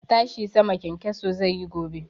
Tashi sama kyankyaso zai yi gobe.